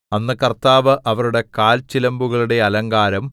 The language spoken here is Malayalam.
അന്ന് കർത്താവ് അവരുടെ കാൽച്ചിലമ്പുകളുടെ അലങ്കാരം